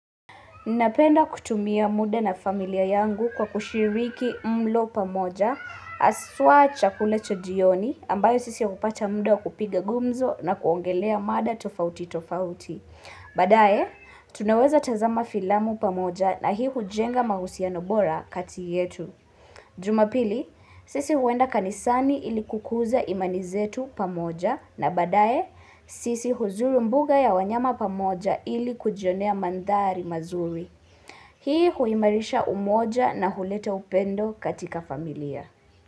Napenda kutumia muda na familia yangu, kwa kushiriki mlo pamoja, haswa chakula cha jioni, ambayo sisi hupata muda wa kupiga gumzo, na kuongelea mada tofauti tofauti. Baadaye, tunaweza tazama filamu pamoja, na hii hujenga mahusiano bora kati yetu. Jumapili, sisi huenda kanisani ili kukuza imani zetu pamoja na badaye, sisi huzuru mbuga ya wanyama pamoja ili kujionea mandhari mazuri. Hii, huimarisha umoja, na huleta upendo katika familia.